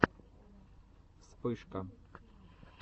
вспышка